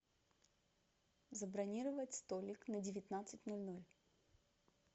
забронировать столик на девятнадцать ноль ноль